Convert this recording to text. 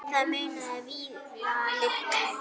Það munaði víða litlu.